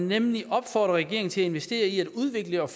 nemlig opfordrer regeringen til at investere i at udvikle og